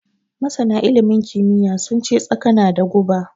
Masana ilimin kimiyya sun ce Tsaka na da guba.